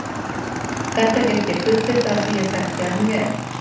Þetta get ég fullyrt af því að ég þekkti hann vel.